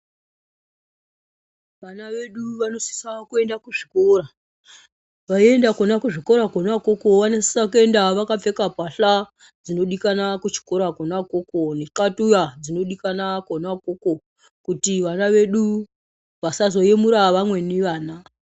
Vana vedu vanosisa kuenda kuzvikora veienda kuzvikora Kona ikoko vanosisa vakapfeka mbahla Kudikanwa kuchikora Kona ikoko kuti vana vedu vasazoyemura vamweni vana.